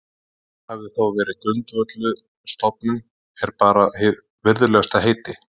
Hér hafði þó verið grundvölluð stofnun, er bar hið virðulegasta heiti